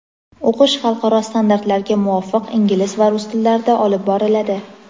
O‘qish xalqaro standartlarga muvofiq ingliz va rus tillarida olib boriladi.